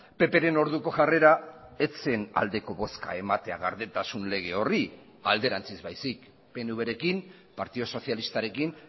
ppren orduko jarrera ez zen aldeko bozka ematea gardentasun lege horri alderantziz baizik pnvrekin partidu sozialistarekin